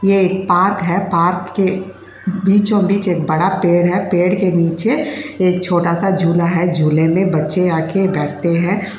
ये एक पार्क है। पार्क के बीचो-बीच एक बड़ा पेड़ है। पेड़ के नीचे एक छोटा-सा झूला है। झूले में बच्चे आ के बैठते हैं।